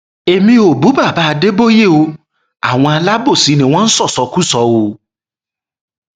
èmi ò bú baba adébóye o àwọn alábòsí ni wọn ń ṣọṣọkọṣọ o